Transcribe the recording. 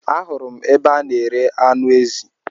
Ahụrụ m ebe a n'ere anụ ezi